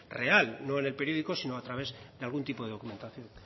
real no en el periódico sino a través de algún tipo de documentación